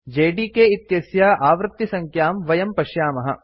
JDK इत्यस्य आवृतिसङ्ख्यां वयं पश्यामः